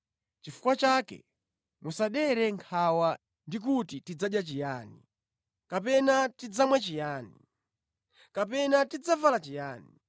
Chifukwa chake musadere nkhawa ndi kuti, ‘Tidzadya chiyani?’ kapena ‘Tidzamwa chiyani?’ kapena ‘Tidzavala chiyani?’